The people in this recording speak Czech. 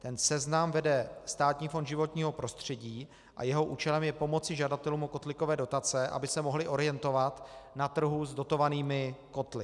Ten seznam vede Státní fond životního prostředí a jeho účelem je pomoci žadatelům o kotlíkové dotace, aby se mohli orientovat na trhu s dotovanými kotly.